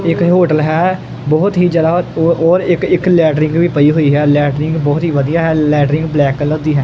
ਇਹ ਕੋਈ ਹੋਟਲ ਹੈ ਬਹੁਤ ਹੀ ਜਿਆਦਾ ਔਰ ਔਰ ਇੱਕ ਇੱਕ ਲੈਟ੍ਰਿੰਗ ਵੀ ਪਈ ਹੋਈ ਹੈ ਲੈਟ੍ਰਿੰਗ ਬਹੁਤ ਹੀ ਵਧੀਆ ਹੈ ਲੈਟ੍ਰਿੰਗ ਬਲੈਕ ਕਲਰ ਦੀ ਹੈ।